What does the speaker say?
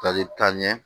Tali taa ɲɛ